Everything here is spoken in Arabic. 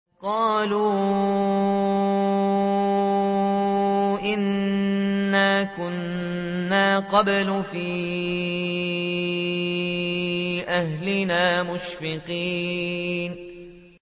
قَالُوا إِنَّا كُنَّا قَبْلُ فِي أَهْلِنَا مُشْفِقِينَ